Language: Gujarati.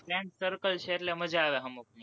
friend circle છે, એટલે મજા આવે હમુકની